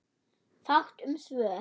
Fátt um svör.